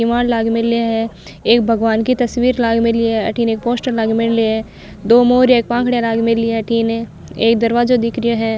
किवाड़ लाग मेला है एक भगवान की तस्वीर लाग मिली है अठीने एक पोस्टर लाग मेलो है दो मोर एक पंखड़ी लाग मेली है अठीने एक दरवाजो दिख रो है।